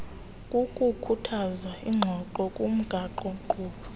kukukhuthaza iingxoxo ngomgaqonkqubo